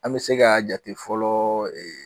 An bi se ka jate fɔlɔ